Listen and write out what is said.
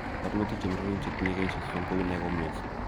Barnotik che murenik chetinye kenyisiek 30 kou nia komioso.